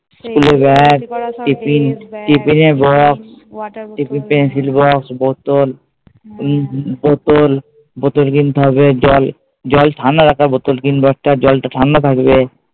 Pencil box, বোতল উম বোতল, বোতল কিনতে হবে জল, জল ঠান্ডা রাখা বোতল কিনবো একটা জলটা ঠান্ডা থাকবে।